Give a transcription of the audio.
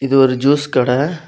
இது ஒரு ஜூஸ் கட.